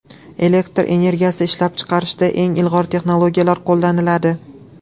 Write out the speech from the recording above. Elektr energiyasi ishlab chiqarishda eng ilg‘or texnologiyalar qo‘llaniladi.